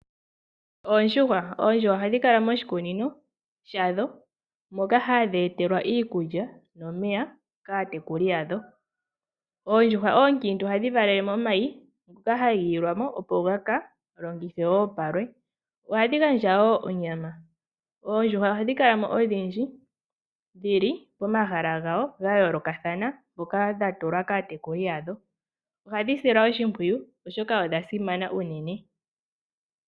Oondjuhwa ohadhi kala moshikunino shadho moka hadhi etelwa iikulya nomeya kaatekuli yadho. Oondjuhwa oonkiintu ohadhi valele momayi moka haga ilwamo opo gaka longithwe wo palwe . Ohadhi gandja wo onyama, oondjuhwa ohadhi kala odhindji dhili pomahala gawo gayoolokathana ngoka gatulwa kaatekuli yadho. Ohadhi silwa oshimpwiyu oshoka odha simana unene.